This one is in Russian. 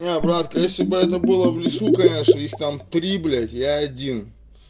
нет братка если бы это было в лесу конечно их там три блять я один